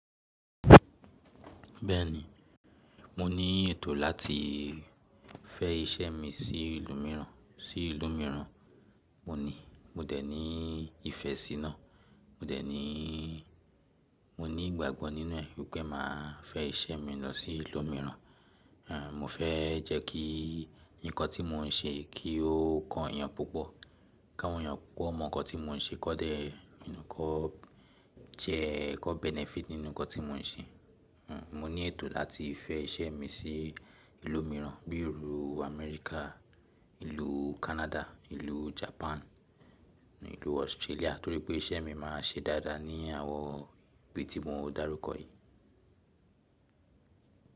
Bẹ́ẹ̀ni, mo ní ètò láti fẹ́ iṣẹ́ mi sí ìlú mìíràn, sí ìlú mìíràn. Mo ní, mo dẹ̀ ní ìfẹ́ sína, mo dẹ̀ ní, mo ní ìgbàgbọ́ nínú ẹ̀ wípé màá fẹ́ iṣẹ́ mi lọ sí ìlú mìíràn. Àn, mo fẹ́ jẹ́ kí ǹkan tí mo ń ṣe kí ó kan eyàn púpọ̀, káwọn eyàn púpọ̀ mọ̀ ǹkan tí mo ń ṣe kó dẹ̀ jẹ́, kíwón "benefit" nínú ǹkan tí mo ń ṣe. Àn, mo ní ètò láti fẹ́ iṣẹ́ mi sí ìlú mìíràn bí i ìlú Amẹ́ríkà, ìlú Canada, ìlú Japan, ìlú Australia torí pé iṣẹ́ mi máa ṣe dáadáa ní àwọn ibi tí mo ń dárúkọ yìí.